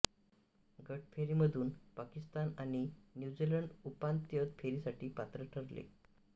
गट फेरीमधून पाकिस्तान आणि न्यूझीलंड उपांत्य फेरीसाठी पात्र ठरले